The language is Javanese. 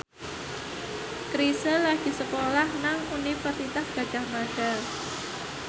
Chrisye lagi sekolah nang Universitas Gadjah Mada